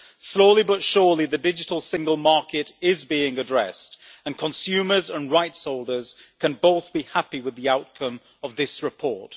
Slowly but surely, the digital single market is being addressed and consumers and rights holders can both be happy with the outcome of this report.